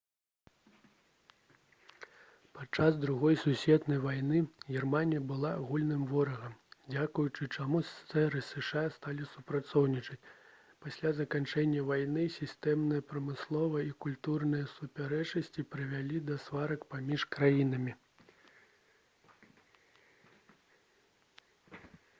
падчас другой сусветнай вайны германія была агульным ворагам дзякуючы чаму ссср і зша сталі супрацоўнічаць пасля заканчэння вайны сістэмныя прамысловыя і культурныя супярэчнасці прывялі да сварак паміж краінамі